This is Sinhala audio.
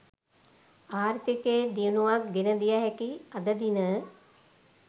ආර්ථිකයේ දියුණුවක් ගෙන දිය හැකි අද දින